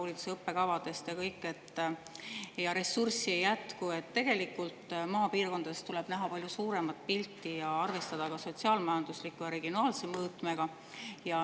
Seal tõdeti ühistes aruteludes, et tegelikult tuleb maapiirkondades näha palju suuremat pilti ja arvestada ka sotsiaal-majandusliku ja regionaalse mõõtmega.